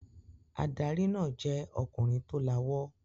Adarí náà jẹ́ ọkùnrin tó lawọ́.